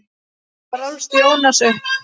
Þar ólst Jónas upp.